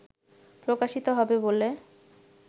প্রকাশিত হবে বলে